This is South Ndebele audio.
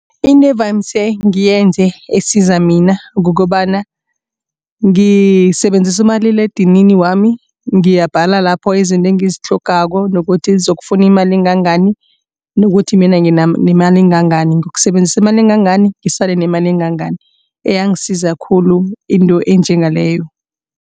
Into evane ngiyenze esiza mina kukobana ngisebenzisa umaliledinini wami ngiyabhala lapho izinto engizitlhogako nokuthi zizokufuna imali engangani. Nokuthi mina nginemali engangani ngiyokusebenzisa imali engangani ngisale nemali engangani iyangisiza khulu into enjengaleyo.